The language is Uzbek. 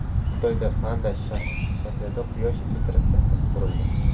Xitoyda panda shaklida quyosh elektrostansiyasi qurildi.